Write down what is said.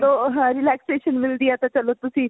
ਜਦੋ relaxation ਮਿਲਦੀ ਹੈ ਤਾਂ ਚਲੋ ਤੁਸੀਂ